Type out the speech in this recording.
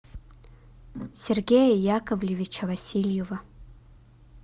сергея яковлевича васильева